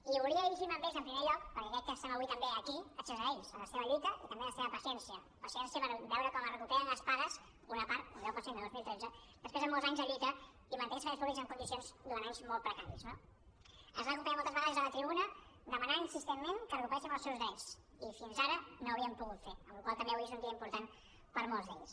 i volia dirigir me a ells en primer lloc perquè crec que estem avui també aquí gràcies a ells a la seva lluita i també a la seva paciència paciència per veure com es recuperen les pagues una part un deu per cent de dos mil tretze després de molts anys de lluita i mantenir els serveis públics en condicions durant anys molt precaris no ens van acompanyar moltes vegades des de la tribuna per demanar insistentment que recuperéssim els seus drets i fins ara no ho havíem pogut fer amb la qual cosa també avui és un dia important per a molts d’ells